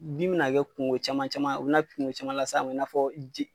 Dimi bina kɛ kungo caman caman u bi na kungo caman las'a ma i n'a fɔ